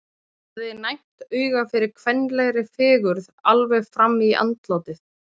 Hann hafði næmt auga fyrir kvenlegri fegurð alveg fram í andlátið!